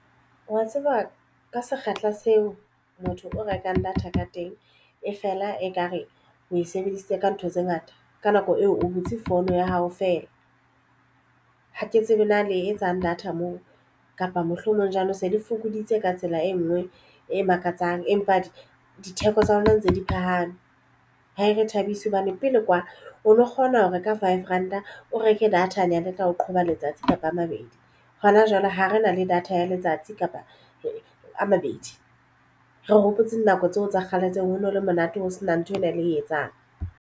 Wa tseba ka sekgahla seo motho o rekang data ka teng e fela ekare o e sebedisitse ka ntho tse ngata ka nako eo o butse phone ya hao fela. Ha ke tsebe na le etsang data moo kapa mohlomong ja nou se le fokoditse ka tsela e nngwe e makatsang empa ditheko tsa lona ntse di phahame ha e re thabise hobane pele kwa o lo kgona ho reka five ranta o reke data-anyane e ka o qhoba letsatsi kapa a mabedi hona jwale ha re na le data ya letsatsi kapa a mabedi. Re hopotsa nako tseo tsa kgale tseo ho no le monate ho sena ntho ena ele etsang.